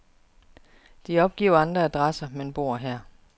De opgiver andre adresser, men bor her.